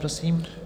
Prosím.